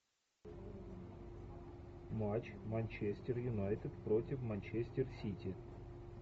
матч манчестер юнайтед против манчестер сити